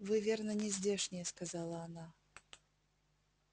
вы верно не здешние сказала она